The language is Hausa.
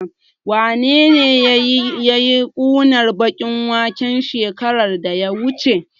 Wanene yayi ƙunar baƙin waken shekarar da ta wuce?